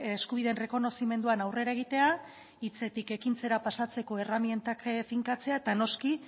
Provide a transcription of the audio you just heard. eskubideen errekonozimenduan aurrera egitea hitzetik ekintzara pasatzeko erremintak finkatzea eta noski